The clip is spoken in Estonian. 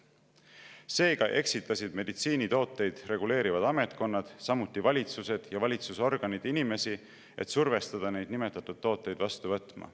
Seega eksitasid meditsiinitooteid reguleerivad ametkonnad, samuti valitsused ja valitsusorganid inimesi, et survestada neid nimetatud tooteid vastu võtma.